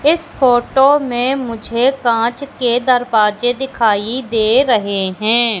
इस फोटो में मुझे कांच के दरवाजे दिखाई दे रहे हैं।